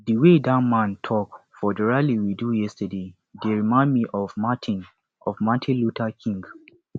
the way dat man talk for the rally we do yesterday dey remind me of martin of martin luther king jnr